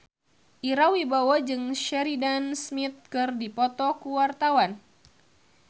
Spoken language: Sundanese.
Ira Wibowo jeung Sheridan Smith keur dipoto ku wartawan